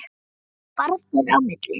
Þetta var bara þeirra á milli.